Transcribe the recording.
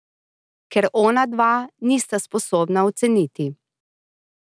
Ker onadva nista sposobna oceniti.